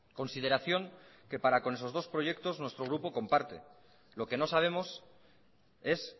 consideración que para con esos dos proyectos nuestro grupo comparte lo que no sabemos es